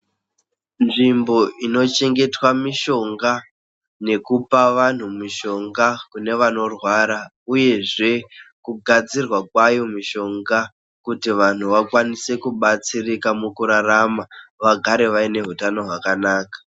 Nzvimbo inochengetedza mishonga nekupa vanhu mishonga kune vanorwara uyezve kugadzirwa kwayo mishonga kuti vanhu vakwanise kibatsirika mukurarama vagare vane hutano hwakanaka.